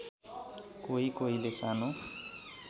कोही कोहीले सानो